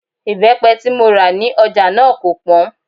Ìbẹ́pẹ tí mo rà ní ọjà náà kò pọ́n